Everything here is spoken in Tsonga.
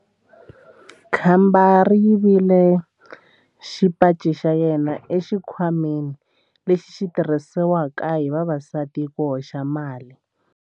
Khamba ri yivile xipaci xa yena exikhwameni lexi xi tirhisiwaka hi vavasati ku hoxela mali.